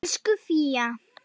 Elsku Fía.